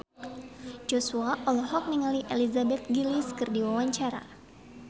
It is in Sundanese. Joshua olohok ningali Elizabeth Gillies keur diwawancara